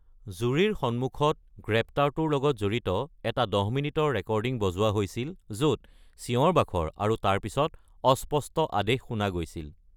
জুৰীৰ সন্মুখত গ্ৰেপ্তাৰটোৰ লগত জড়িত এটা দহ মিনিটৰ ৰেকৰ্ডিং বজোৱা হৈছিল য’ত চিঞৰ-বাখৰ আৰু তাৰ পিছত অস্পষ্ট আদেশ শুনা গৈছিল।